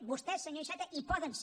vostès senyor iceta hi poden ser